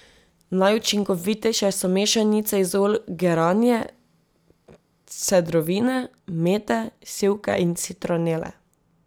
Najučinkovitejše so mešanice iz olj geranije, cedrovine, mete, sivke in citronele.